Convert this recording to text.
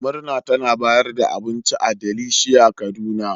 Murna tana bayar da abinci a Delicia kaduna.